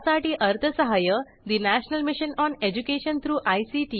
यासाठी अर्थसहाय्य national mission on education through I